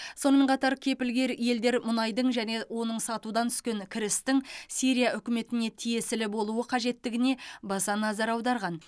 сонымен қатар кепілгер елдер мұнайдың және оның сатудан түскен кірістің сирия үкіметіне тиесілі болуы қажеттігіне баса назар аударған